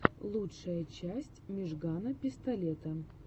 лучшая часть мижгана пистолета